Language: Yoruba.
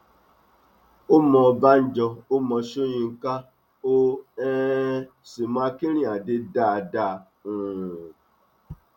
ó mọ ọbànjọ ó mọ sọyńkà ó um sì mọ akínrínnádé dáadáa um